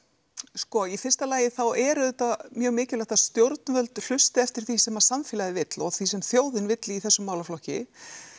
sko í fyrsta lagi þá er auðvitað mjög mikilvægt að stjórnvöld hlusti eftir því sem samfélagið vill og því sem þjóðin vill í þessum málaflokki